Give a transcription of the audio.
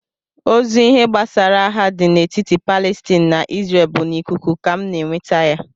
Ozi ihe gbasara agha dị n'etiti Palestine na Isreal bụ n'ikuku ka m na-enweta ya